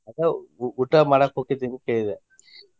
ಅದ ಊ~ ಊಟಾ ಮಾಡಾಕ ಹೊಕ್ಕೆತಿ ಏನ ಕೇಳಿದೆ?